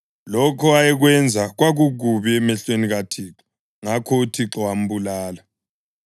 Lokho ayekwenza kwakukubi emehlweni kaThixo; ngakho uThixo wambulala.